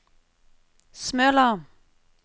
Smøla